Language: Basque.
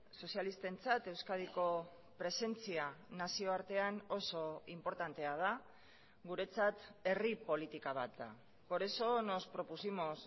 sozialistentzat euskadiko presentzia nazioartean oso inportantea da guretzat herri politika bat da por eso nos propusimos